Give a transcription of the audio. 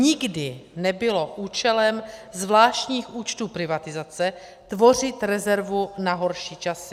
Nikdy nebylo účelem zvláštních účtů privatizace tvořit rezervu na horší časy.